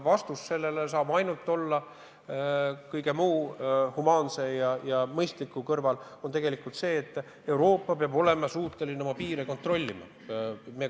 Vastus sellele saab mõistlike ja humaansete abinõude kõrval tegelikult olla see, et Euroopa peab olema suuteline oma piire kontrollima.